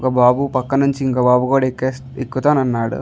ఒ బాబు పక్క నుంచి ఇంకో బాబు కూడా ఎక్కాస్ ఎక్కుతానన్నాడు.